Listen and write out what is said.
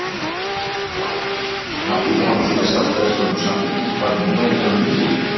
Lára: En áttu von á því að sjálfstæðismenn og Samfylking fari núna í þennan undirbúning?